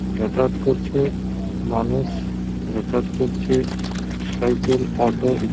যাতায়াত করছে। মানুষ যাতায়াত করছে। সাইকেল অটো ই--